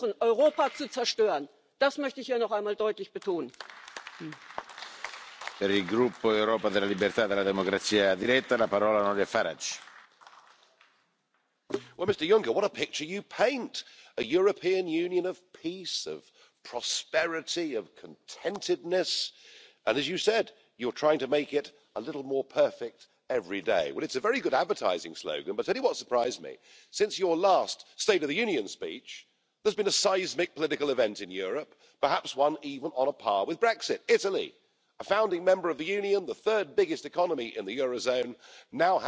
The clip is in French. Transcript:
Monsieur le Président, Monsieur Juncker, quatre ans après l'installation de votre Commission, et à quelques mois seulement des élections européennes, l'heure est évidemment au bilan, et force est de constater que votre Commission est finalement un condensé de toutes les dérives de l'Union européenne et de tout ce que les peuples ne supportent plus aujourd'hui. L'action de votre Commission, elle est à la fois opaque, antidémocratique et punitive. Opaque, lorsque vous décidez, c'est le fait du prince, de nommer M. Selmayr comme secrétaire général de la Commission. Sa majesté Jean Claude Juncker s'affranchit de toutes les règles en vigueur. Antidémocratique, lorsque votre commissaire